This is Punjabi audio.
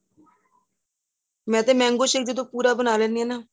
ਮੈਂ ਤੇ mango shake ਜਦੋਂ ਪੂਰਾ ਬਣਾ ਲੈਂਣੀ ਹਾਂ